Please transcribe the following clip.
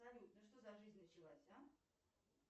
салют ну что за жизнь началась а